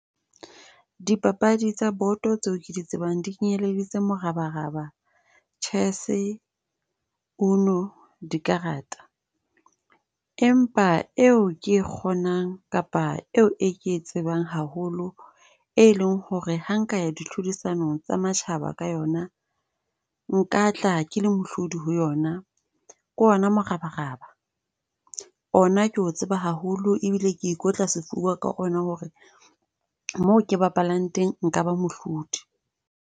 Dipapadi tsa boto tseo ke di tsebang, di kenyelleditse morabaraba, chess, uno, dikarata. Empa e o ke e kgonang kapa eo e ke e tsebang haholo, e leng ho re ha nka ya di tlhodisano tsa matjhaba ka yona. Nka tla ke mohlodi ho yona, ke ona morabaraba. Ona ke o tseba haholo ebile ke ikotla sefuba ka ona ho re moo ke bapallang teng nka ba mohlodi.